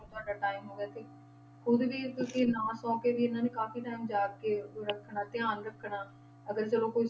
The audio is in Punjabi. ਤੁਹਾਡਾ time ਹੋ ਗਿਆ ਤੇ ਖੁੱਦ ਵੀ ਕਿਉਂਕਿ ਨਾ ਸੌਂ ਕੇ ਵੀ ਇਹਨਾਂ ਨੇ ਕਾਫ਼ੀ time ਜਾਗ ਕੇ ਉਹ ਰੱਖਣਾ ਧਿਆਨ ਰੱਖਣਾ ਅਗਰ ਚਲੋ ਕ~